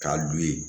K'a d'u ye